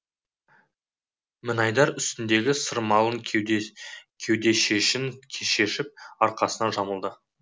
мінайдар үстіндегі сырмалы кеудешесін шешіп арқасына жамылды